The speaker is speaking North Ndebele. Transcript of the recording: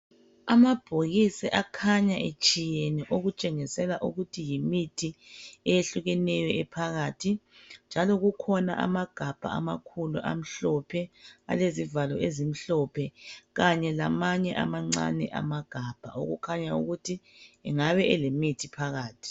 Amabhokisi akhanya etshiyene okutshengisela ukuthi yimithi eyehlukeneyo ephakathi njalo kukhona amagabha amakhulu amhlophe alezivalo ezimhlophe kanye lamanye amancane amagabha okukhanya ukuthi angabe alemithi phakathi